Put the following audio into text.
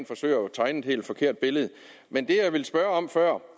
tegne et helt forkert billede men det jeg ville spørge om før